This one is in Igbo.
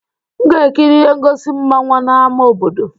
M ga-ekiri ihe ngosi mmanwa n' ama obodo